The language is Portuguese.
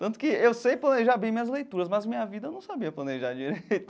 Tanto que eu sei planejar bem minhas leituras, mas minha vida eu não sabia planejar direito.